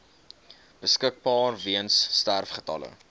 beskikbaar weens sterfgevalle